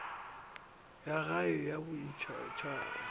ya gae le ya boditšhabatšhaba